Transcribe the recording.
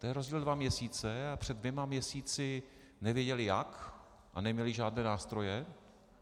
To je rozdíl dva měsíce, a před dvěma měsíci nevěděli jak a neměli žádné nástroje.